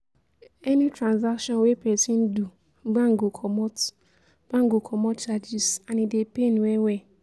any transaction wey persin do, bank go comot bank go comot charges and e dey pain well well